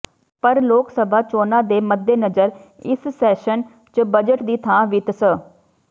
ਪਰ ਲੋਕ ਸਭਾ ਚੋਣਾਂ ਦੇ ਮੱਦੇਨਜ਼ਰ ਇਸ ਸੈਸ਼ਨ ਚ ਬਜਟ ਦੀ ਥਾਂ ਵਿੱਤ ਸ